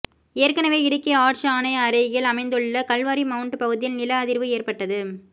ஏற்கனவே இடுக்கி ஆர்ச் ஆணை அருகில் அமைந்துள்ள கல்வாரி மவுண்ட் பகுதியில் நில அதிர்வு ஏற்பட்டது